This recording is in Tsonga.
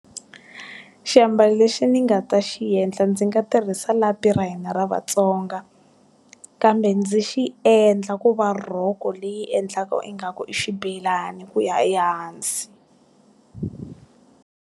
Xiambalo lexi ni nga ta xi endla ndzi nga tirhisa lapi ra hina ra vatsonga. Kambe ndzi xi endla ku va rhoko leyi endlaka ingaku i xibelani ku ya ehansi.